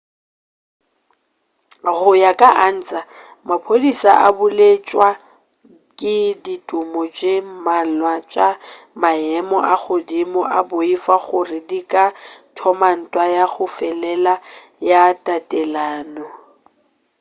go ya ka ansa maphodisa a belaetšwa ke ditumo tše mmalwa tša maemo a godimo ba boifa gore di ka thoma ntwa ya go felelela ya tatelano